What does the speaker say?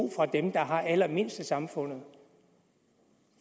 fra dem der har allermindst i samfundet